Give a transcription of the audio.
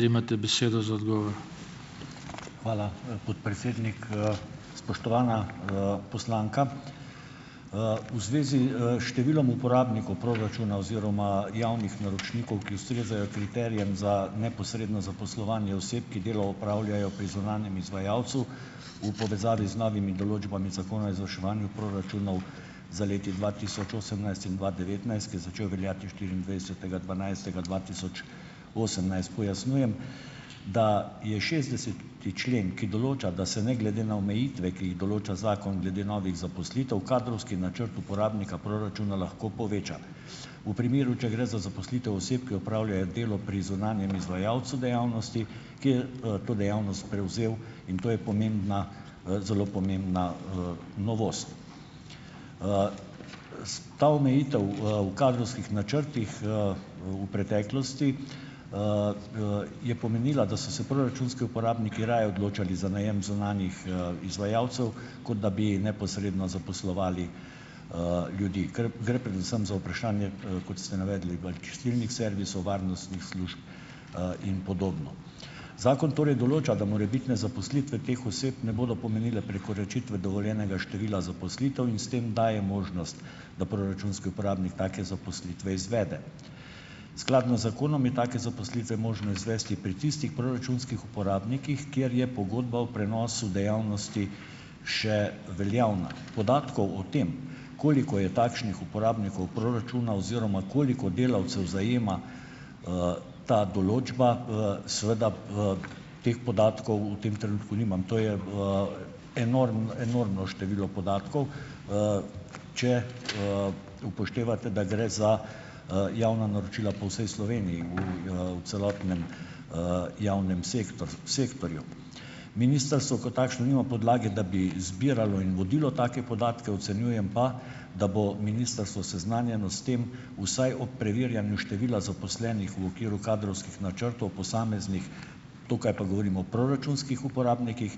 Hvala, podpredsednik. Spoštovana, poslanka, v zvezi, s številom uporabnikov proračuna oziroma javnih naročnikov, ki ustrezajo kriterijem za neposredno zaposlovanje oseb, ki delo opravljajo pri zunanjem izvajalcu, v povezavi z novimi določbami Zakona o izvrševanju proračunov za leti dva tisoč osemnajst in dva devetnajst, ki je začel veljati v štiriindvajsetega dvanajstega dva tisoč osemnajst. Pojasnjujem, da je šestdeseti člen, ki določa, da se ne glede na omejitve, ki jih določa zakon glede novih zaposlitev, kadrovski načrt uporabnika proračuna lahko poveča. V primeru, če gre za zaposlitev oseb, ki opravljajo delo pri zunanjem izvajalcu dejavnosti, ki je, to dejavnost prevzel, in to je pomembna, zelo pomembna, novost. Ta omejitev, v kadrovskih načrtih, v preteklosti, je pomenila, da so se proračunski uporabniki raje odločali za najem zunanjih, izvajalcev, kot da bi neposredno zaposlovali, ljudi. Ker gre predvsem za vprašanje, kot ste navedli, bolj čistilnih servisov, varnostnih služb, in podobno. Zakon torej določa, da morebitne zaposlitve teh oseb ne bodo pomenile prekoračitve dovoljenega števila zaposlitev in s tem daje možnost, da proračunski uporabnik take zaposlitve izvede. Skladno z zakonom je take zaposlitve možno izvesti pri tistih proračunskih uporabnikih, kjer je pogodba o prenosu dejavnosti še veljavna. Podatkov o tem, koliko je takšnih uporabnikov proračuna oziroma koliko delavcev zajema, ta določba, seveda, teh podatkov v tem trenutku nimam. To je, enormno število podatkov, če, upoštevate, da gre za, javna naročila po vsej Sloveniji v, v celotnem, javnem sektorju. Ministrstvo kot takšno nima podlage, da bi zbiralo in vodilo take podatke, ocenjujem pa, da bo ministrstvo seznanjeno s tem, vsaj ob preverjanju števila zaposlenih v okviru kadrovskih načrtov posameznih - tukaj pa govorim o proračunskih uporabnikih,